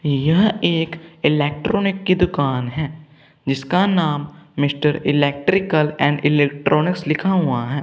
यह एक इलेक्ट्रॉनिक की दुकान है जिसका नाम मिस्टर इलेक्ट्रिकल एंड इलेक्ट्रॉनिक्स लिखा हुआ हैं।